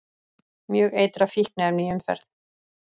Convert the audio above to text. Mjög eitrað fíkniefni í umferð